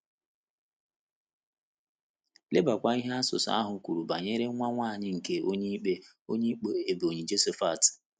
Lebakwa ihe asụsụ ahụ kwuru banyere nwa nwanyị nke Onyeikpe Onyeikpe Ebonyi Jephthah.